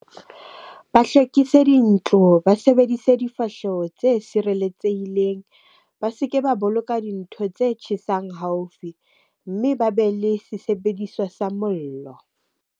Ba hlwekise dintlo, ba sebedise difahleho tse sireletsehileng. Ba se ke ba boloka dintho tse tjhesang haufi, mme ba be le se sebediswa sa mollo.